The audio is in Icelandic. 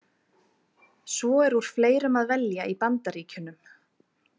Svo er úr fleirum að velja í Bandaríkjunum.